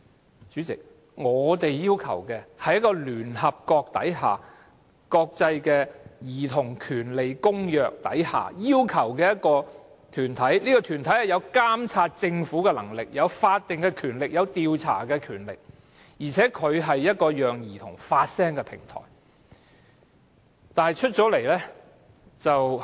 代理主席，我們要求的是按聯合國《兒童權利公約》成立的團體，團體具有監察政府的權力、有法定及調查權力，而且是一個讓兒童發聲的平台。